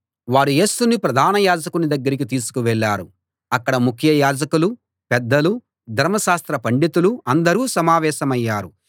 వారు యేసుని ప్రధాన యాజకుని దగ్గరికి తీసుకు వెళ్ళారు అక్కడ ముఖ్య యాజకులు పెద్దలు ధర్మశాస్త్ర పండితులు అందరూ సమావేశమయ్యారు